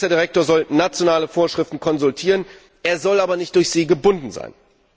Der ACER Direktor soll nationale Vorschriften konsultieren, er soll aber nicht durch sie gebunden sein.